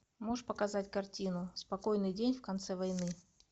можешь показать картину спокойный день в конце войны